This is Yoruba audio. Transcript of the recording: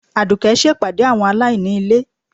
Adùké ṣe pàdé àwọn alaíní ilé